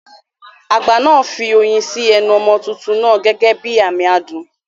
Àgbà náà fi oyin sí ẹnu ọmọ tuntun náà gẹ́gẹ́ bí àmì adùn.